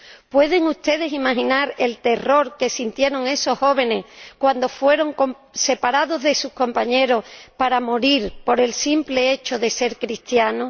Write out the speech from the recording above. ¿Pueden ustedes imaginar el terror que sintieron esos jóvenes cuando fueron separados de sus compañeros para morir por el simple hecho de ser cristianos?